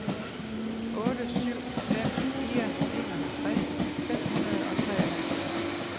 otte syv fem fire enoghalvtreds fem hundrede og treoghalvfjerds